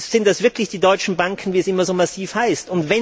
Sind das wirklich die deutschen Banken, wie es immer so massiv heißt?